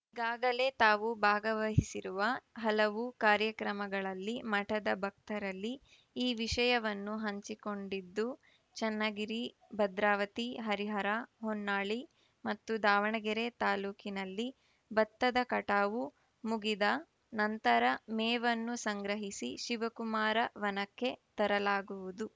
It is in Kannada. ಈಗಾಗಲೇ ತಾವು ಭಾಗವಹಿಸಿರುವ ಹಲವು ಕಾರ್ಯಕ್ರಮಗಳಲ್ಲಿ ಮಠದ ಭಕ್ತರಲ್ಲಿ ಈ ವಿಷಯವನ್ನು ಹಂಚಿಕೊಂಡಿದ್ದು ಚನ್ನಗಿರಿ ಭದ್ರಾವತಿ ಹರಿಹರ ಹೊನ್ನಾಳಿ ಮತ್ತು ದಾವಣಗೆರೆ ತಾಲೂಕಿನಲ್ಲಿ ಭತ್ತದ ಕಟಾವು ಮುಗಿದ ನಂತರ ಮೇವನ್ನು ಸಂಗ್ರಹಿಸಿ ಶಿವಕುಮಾರ ವನಕ್ಕೆ ತರಲಾಗುವುದು